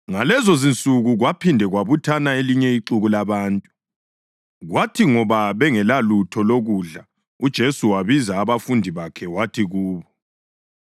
Ngalezonsuku kwaphinde kwabuthana elinye ixuku labantu. Kwathi ngoba bengelalutho lokudla uJesu wabiza abafundi bakhe wathi kubo,